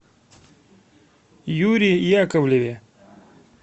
юре яковлеве